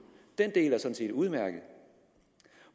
den del er sådan set udmærket